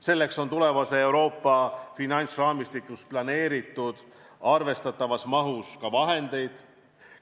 Selleks on tulevases Euroopa finantsraamistikus arvestatavas mahus ka vahendeid planeeritud.